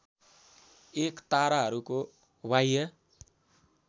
एक ताराहरूको बाह्य